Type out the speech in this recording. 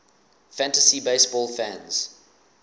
fantasy baseball fans